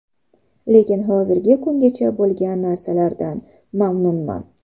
Lekin hozirgi kungacha bo‘lgan narsalardan mamnunman.